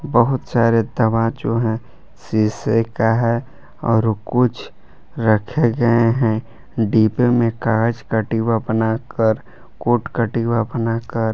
बहुत सारे दवा जो है शीशे का है और कुछ रखे गए हैं डिब्बे में कांच का डिब्बा बनाकर कूट का डिब्बा बनाकर।